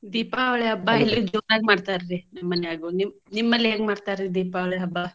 ದೀಪಾವಳಿ ಹಬ್ಬಾ ಇಲ್ಲಿ ಜೋರಾಗಿ ಮಾಡ್ತಾರ್ರಿ ನಮ್ಮ ಮನ್ಯಾಗು ನಿಮ್~ ನಿಮ್ಮಲ್ಲಿ ಹೇಗೆ ಮಾಡ್ತಾರ್ರಿ ದೀಪಾವಳಿ ಹಬ್ಬಾ?